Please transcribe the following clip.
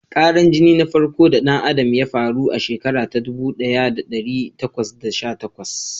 Karan jini na farko da ɗan Adam ya faru a shekara ta ɗubu ɗaya da ɗari takwas da sha takwas.